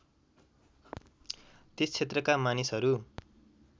त्यस क्षेत्रका मानिसहरू